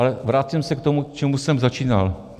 Ale vracím se k tomu, čím jsem začínal.